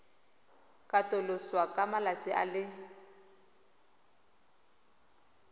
katoloswa ka malatsi a le